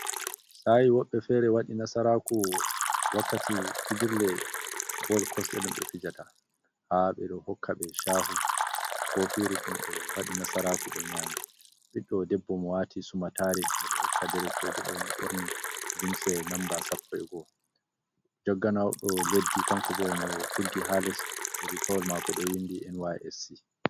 Saa'i woɓbe feere waɗi nasaraaku wakkati fijirle bol kosɗe ɗum ɓe fijata, haa ɓe ɗo hokka ɓe caahu koofiiru ɗum ɓe waɗi nasaraaku ɓe nyaami. Ɓiɗɗo debbo mo waati sumattaare, mo ɗo hokka derekeejo ɗoo, mo ɓorni limsel namba sappo e go'o (11). Jagganowodo leddi kanko boo e mo tuggi haa lesdi, riigawol maako ɗo winndi NYSC.